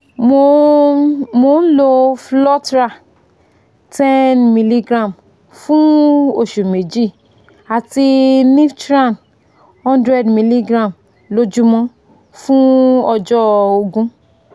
mo ń mo ń lo flotral ten mg fún oṣù méjì àti niftran one hundred mg lójúmọ́ fún ọjọ́ ógún